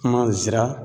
Kuma zara